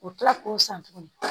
O kila k'o san tuguni